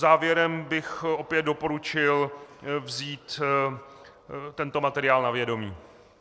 Závěrem bych opět doporučil vzít tento materiál na vědomí.